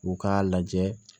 U k'a lajɛ